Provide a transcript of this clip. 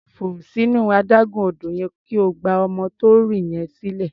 Fò sínú adágún odò yẹn kí o gba ọmọ tó ń rì yẹn sílẹ̀.